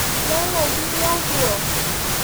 No woigire ũguo